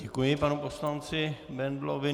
Děkuji panu poslanci Bendlovi.